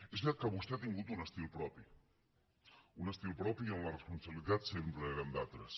és veritat que vostè ha tingut un estil propi un estil propi on les responsabilitats sempre eren d’altres